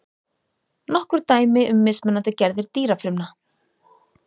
nokkur dæmi um mismunandi gerðir dýrafrumna